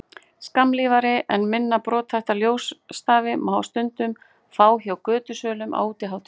Skammlífari en minna brothætta ljósstafi má stundum fá hjá götusölum á útihátíðum.